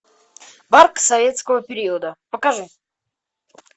парк советского периода покажи